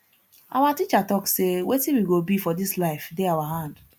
our teacher talk sey wetin we go be for dis life dey our hand